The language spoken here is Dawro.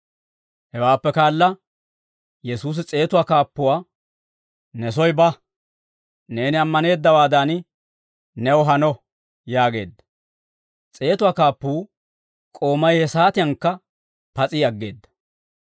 Hewaappe kaala Yesuusi s'eetuwaa kaappuwaa, «Ne soy ba; neeni ammaneeddawaadan new hano» yaageedda; s'eetuwaa kaappuwaa k'oomay he saatiyankka pas'i aggeedda.